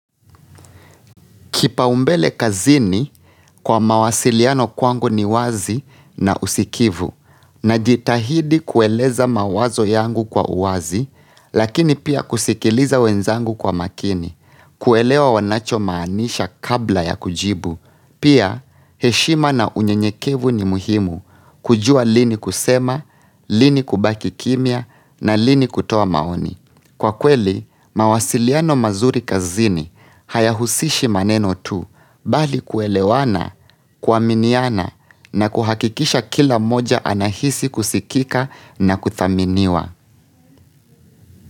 Kipaumbele kazini kwa mawasiliano kwangu ni wazi na usikivu, najitahidi kueleza mawazo yangu kwa uwazi, lakini pia kusikiliza wenzangu kwa makini, kuelewa wanachomaanisha kabla ya kujibu, pia heshima na unyenyekevu ni muhimu kujua lini kusema, lini kubaki kimya na lini kutoa maoni. Kwa kweli, mawasiliano mazuri kazini hayahusishi maneno tu mbali kuelewana, kuaminiana na kuhakikisha kila mmoja anahisi kusikika na kudhaminiwa.